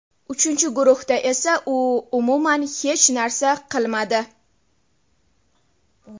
Uchinchi guruhda esa u umuman hech narsa qilmadi.